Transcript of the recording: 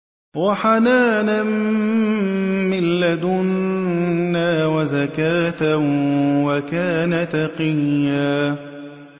وَحَنَانًا مِّن لَّدُنَّا وَزَكَاةً ۖ وَكَانَ تَقِيًّا